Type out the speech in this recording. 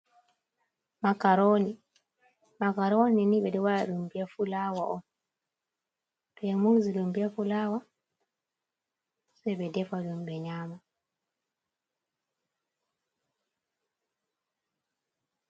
Makaroni, makaroni ni ɓe ɗo wa ɗa ɗum be fulawa on, to ɓe murzi ɗum be fulawa, sai ɓe defa ɗom ɓe nyama.